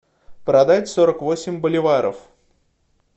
продать сорок восемь боливаров